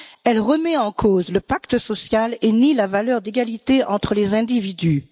Elle remet en cause le pacte social et nie la valeur d'égalité entre les individus.